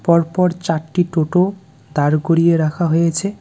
পরপর চারটি টোটো দাঁড় করিয়ে রাখা হয়েছে.